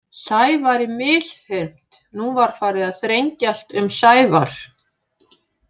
Sævari misþyrmt Nú var farið að þrengjast um Sævar.